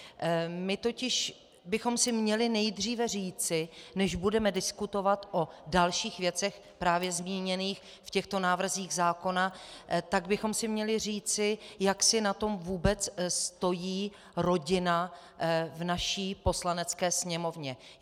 My totiž bychom si měli nejdříve říci, než budeme diskutovat o dalších věcech právě zmíněných v těchto návrzích zákona, tak bychom si měli říci, jak si na tom vůbec stojí rodina v naší Poslanecké sněmovně.